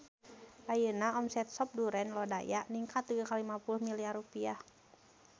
Ayeuna omset Sop Duren Lodaya ningkat dugi ka 50 miliar rupiah